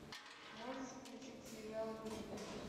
можешь включить сериал гримм